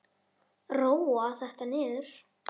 Róa þetta niður!